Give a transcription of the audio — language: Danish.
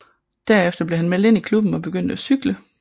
Derefter blev han meldt ind i klubben og begyndte at cykle